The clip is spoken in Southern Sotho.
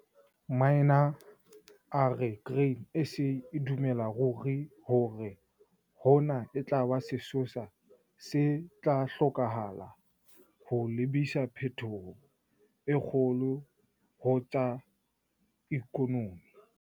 Minaar a re Grain SA e dumela ruri hore hona e tla ba sesosa se tla hlokahala ho lebisa phetohong e kgolo ho tsa ikonomi.